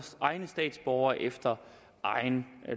egne statsborgere efter egen